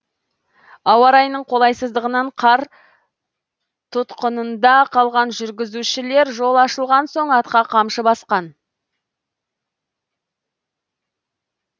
ауа райының қолайсыздығынан қар тұтқынында қалған жүргізушілер жол ашылған соң атқа қамшы басқан